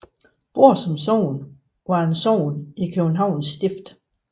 Brorsons Sogn var et sogn i Københavns Stift